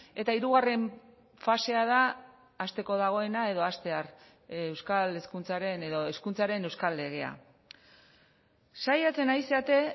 eta hirugarren fasea da hasteko dagoena edo hastear euskal hezkuntzaren edo hezkuntzaren euskal legea saiatzen ari zarete